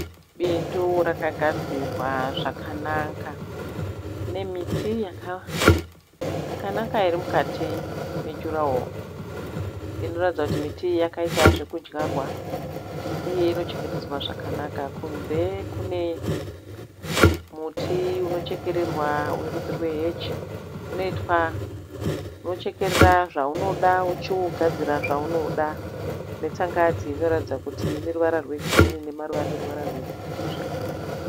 Bindu rakagadzirwa zvakanaka. Pane miti yakanaka iri mukati mejuraworo. Inoratidza kuti miti iyi yakaita zvekudyarwa uye unochengetedzwa zvakanaka. Kunze kune muti unochekererwa werudzi rwe heji.